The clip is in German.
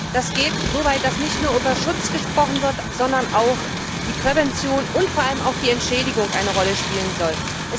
Das geht so weit, dass nicht nur über Schutz gesprochen wird, sondern auch die Prävention und vor allem auch die Entschädigung eine Rolle spielen sollen.